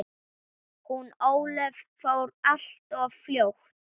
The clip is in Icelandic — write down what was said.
Hún Ólöf fór alltof fljótt.